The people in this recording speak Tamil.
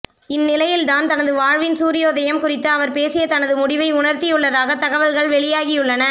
இந்நிலையில்தான் தனது வாழ்வின் சூர்யோதயம் குறித்து அவர் பேசி தனது முடிவை உணர்த்தியுள்ளதாக தகல்கள் வெளியாகியுள்ளன